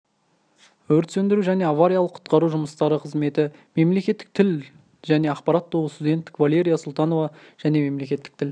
өрт сөндіру және авариялық-құтқару жұмыстары қызметі мемлекеттік тіл және ақпарат тобы студенті валерия султанова және мемлекеттік тіл